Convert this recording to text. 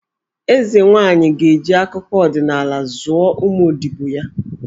Eze nwaanyị ga-eji akụkọ ọdịnala zụọ ụmụ odibo ya.